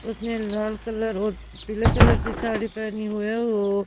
उसने लाल कलर और पीले कलर की साड़ी पहनी हुई है वो--